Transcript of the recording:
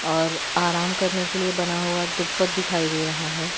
और आराम करने के लिए बना हुआ ट्यूबत दिखाई दे रहा हैं।